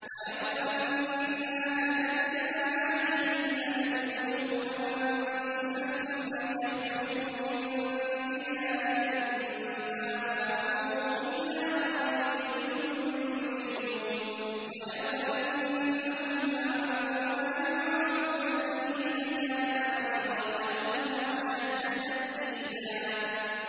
وَلَوْ أَنَّا كَتَبْنَا عَلَيْهِمْ أَنِ اقْتُلُوا أَنفُسَكُمْ أَوِ اخْرُجُوا مِن دِيَارِكُم مَّا فَعَلُوهُ إِلَّا قَلِيلٌ مِّنْهُمْ ۖ وَلَوْ أَنَّهُمْ فَعَلُوا مَا يُوعَظُونَ بِهِ لَكَانَ خَيْرًا لَّهُمْ وَأَشَدَّ تَثْبِيتًا